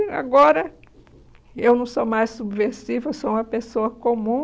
E agora eu não sou mais subversiva, eu sou uma pessoa comum.